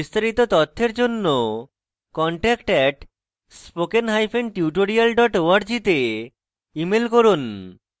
বিস্তারিত তথ্যের জন্য contact @spokentutorial org তে ইমেল করুন